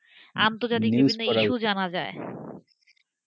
আমিতো জানি বিভিন্ন issue জানা যায়,